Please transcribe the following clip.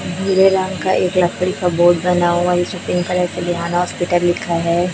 भूरे रंग का एक लकड़ी का बोर्ड बना हुवा हैं इसे पिंक कलर से हॉस्पिटल लिखा हैं।